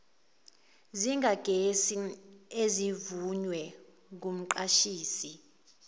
zikagesi ezivunywe ngumqashisi